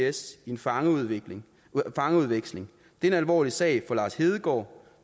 is i en fangeudveksling fangeudveksling det er en alvorlig sag for lars hedegaard